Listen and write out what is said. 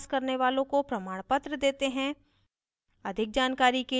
online test pass करने वालोँ को प्रमाणपत्र देते हैं